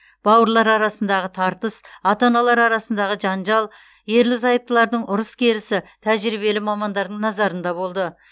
бауырлар арасындағы тартыс ата аналар арасындағы жанжал ерлі зайыптылардың ұрыс керісі тәжірибелі мамандардың назарында болды